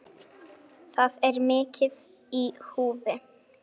Það er mikið í húfi.